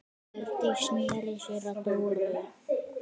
Hjördís sneri sér að Dóru.